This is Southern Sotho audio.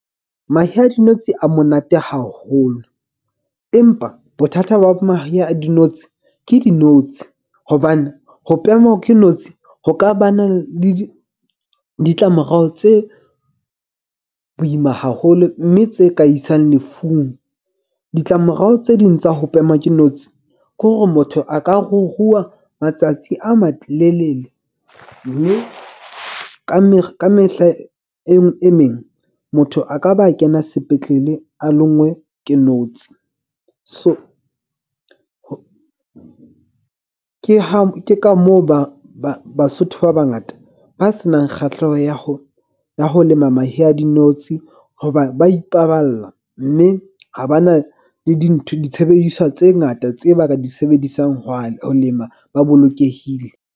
Mahe a dinotshi a monate haholo. Empa bothata ba mahe a dinotshi ke dinotshi. Hobane ho pemwa ke notshi ho ka ba na le ditlamorao tse boima haholo. Mme tse ka isang lefung, ditlamorao tse ding tsa ho pemwa ke notshi. Ko hore motho a ka ruruha matsatsi a malelele. Mme ka ka mehla e meng motho a ka ba kena sepetlele a longwe ke notsi. So ke ha ke ka moo ba Basotho ba bangata ba senang kgahleho ya ho lema mahe a dinotshi. Hoba ba ipaballa, mme ha ba na le dintho ditshebediswa tse ngata tse ba ka di sebedisang ho lema, ba bolokehile.